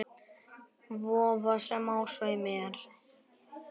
Vofa, sem á sveimi er.